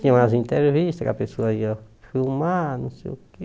Tinha umas entrevistas que a pessoa ia filmar, não sei o quê...